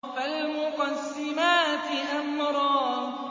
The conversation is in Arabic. فَالْمُقَسِّمَاتِ أَمْرًا